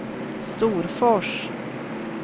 Storfors